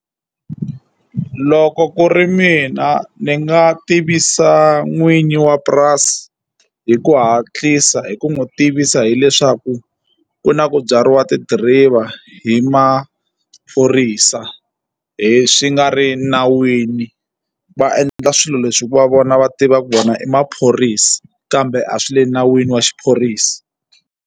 Loko ku ri mina ni nga tivisa n'wini wa purasi hi ku hatlisa hi ku n'wi tivisa hileswaku ku na ku byariwa ti-driver hi maphorisa hi swi nga ri nawini va endla swilo leswi hi ku va vona va tiva ku vona i maphorisa kambe a swi le nawini wa xiphorisa.